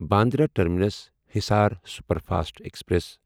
Bandra terminus Hisar superfast express